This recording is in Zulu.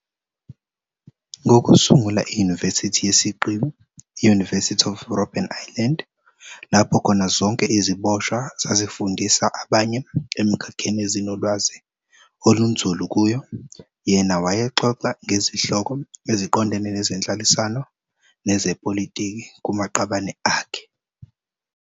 Ngokusungula iYunivesithi yesiqiwi i-"University of Robben Island", lapho khona zonke iziboshwa zazifundisa abanye emikhakheni ezinolwazi olunzulu kuyo, yena wayexoxa ngezihloko eziqondene nezenhlalisano nezepolitiki kumaqabane akhe.